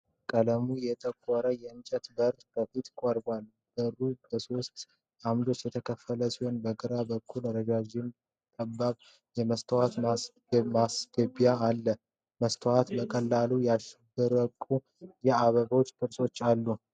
ቀለሙ የጠቆረ የእንጨት በር ከፊት ቀርቧል። በሩ በሦስት አምዶች የተከፈለ ሲሆን በግራ በኩል ረዥምና ጠባብ የመስታወት ማስገቢያ አለው። መስታወቱ በቀለማት ያሸበረቁ የአበባ ቅርጾች አሉ።